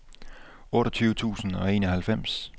otteogtyve tusind og enoghalvfems